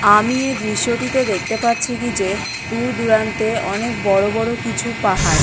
আমি এ দৃশ্যটিতে দেখতে পাচ্ছি কি যে দূর দূরান্তে অনেক বড় বড় কিছু পাহাড়।